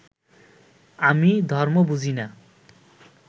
আমি ধর্ম বুঝি না